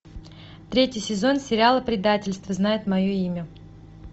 третий сезон сериала предательство знает мое имя